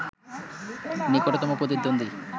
নিকটতম প্রতিদ্বন্দ্বী